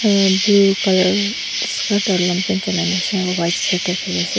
ah blue colour skirt aru long paint chulai na ase aru white shirt tae thaki ase.